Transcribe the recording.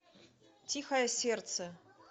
тихое сердце